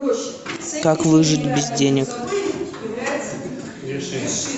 как выжить без денег